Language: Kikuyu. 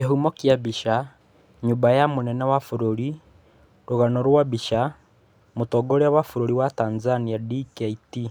Kĩhumo kĩa mbica, nyũmba ya mũnene wa bũrũri Rũgano rwa mbica, Mũtongoria wa bũrũri wa Tanzania Dkt.